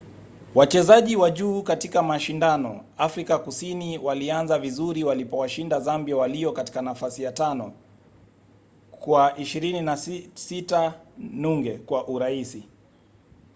wachezaji wa juu katika mashindano afrika kusini walianza vizuri walipowashinda zambia walio katika nafasi ya 5 kwa 26 - 00 kwa urahisi